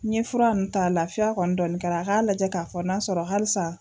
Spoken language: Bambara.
N ɲɛ fura nunnu ta lafiya kɔni dɔɔni kɛra, a k'a lajɛ k'a fɔ n'a sɔrɔ halisa.